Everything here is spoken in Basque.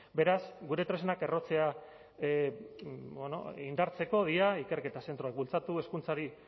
beraz gure tresnak errotzea indartzeko dira ikerketa zentroak bultzatu hezkuntzari